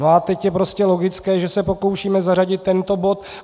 No a teď je prostě logické, že se pokoušíme zařadit tento bod.